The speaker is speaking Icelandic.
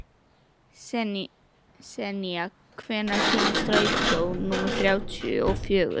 Senía, hvenær kemur strætó númer þrjátíu og fjögur?